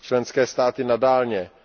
Členské státy